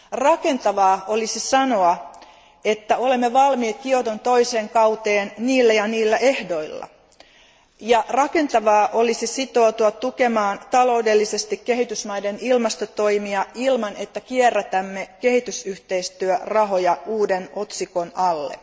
Rakentavaa olisi sanoa, että olemme valmiit Kioton toiseen kauteen niillä ja niillä ehdoilla, ja rakentavaa olisi sitoutua tukemaan taloudellisesti kehitysmaiden ilmastotoimia ilman, että kierrätämme kehitysyhteistyörahoja uuden otsikon alle.